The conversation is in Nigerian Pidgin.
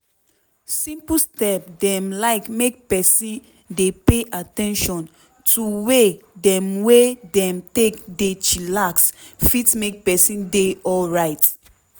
simple step dem like make peson dey pay at ten tion to way dem wey dem take dey chillax fit make peson dey alrite.